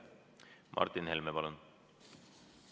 Martin Helme, palun!